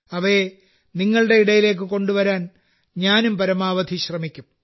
അവയെ നിങ്ങളുടെ ഇടയിലേക്ക് കൊണ്ടുവരാൻ ഞാനും പരമാവധി ശ്രമിക്കും